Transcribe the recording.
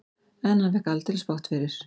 En hann fékk aldeilis bágt fyrir.